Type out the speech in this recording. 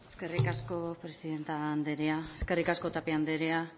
eskerrik asko presidente anderea eskerrik asko tapia anderea